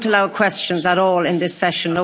I won't allow questions at all in this session.